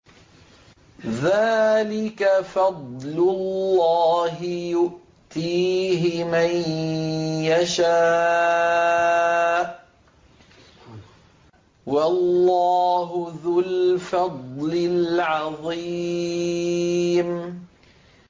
ذَٰلِكَ فَضْلُ اللَّهِ يُؤْتِيهِ مَن يَشَاءُ ۚ وَاللَّهُ ذُو الْفَضْلِ الْعَظِيمِ